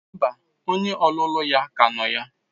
Mba, onye ọlụlụ ya ka nọ ya.